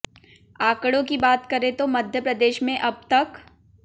आंकड़ों की बात करें तो मध्य प्रदेश में अब तक